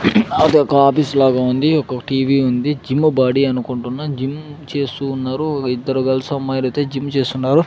అది ఒక ఆఫీస్ లాగా ఉంది ఒక టీ_వీ ఉంది జిమ్ము బాడీ అనుకుంటున్న జిమ్ చేస్తూ ఉన్నారు ఒక ఇద్దరు గర్ల్స్ అమ్మాయిలు అయితే జిమ్ చేస్తున్నారు.